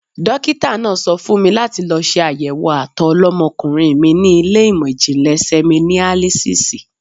Dókítà náà sọ fún mi láti lọ ṣe àyẹ̀wò àtọ̀ ọlọ́mọkùnrin mi ní ilé ìmò ìjìnlè sẹmínálísísì.